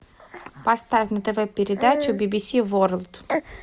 поставь на тв передачу би би си ворлд